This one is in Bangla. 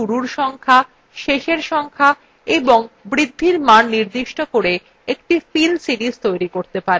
আপনি শুরুর সংখ্যা শেষ সংখ্যা এবং বৃদ্ধির মান নির্দিষ্ট করে একটি fill series তৈরী করতে পারেন